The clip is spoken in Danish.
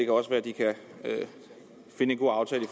også være de kan finde en god aftale i